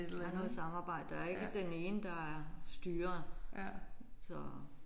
Der er noget samarbejde der er ikke den ene der er styreren så